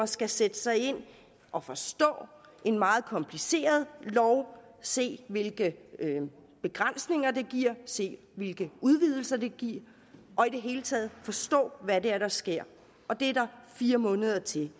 skal sætte sig ind i og forstå en meget kompliceret lov se hvilke begrænsninger den giver se hvilke udvidelser den giver og i det hele taget forstå hvad det er der sker og det er der fire måneder til